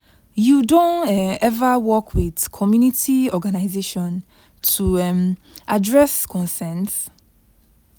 you don um ever work with community organization to um address concerns?